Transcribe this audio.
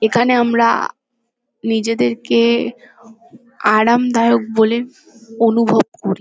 এখানে আমরা নিজেদেরকে আরামদায়ক বলে অনুভব করি।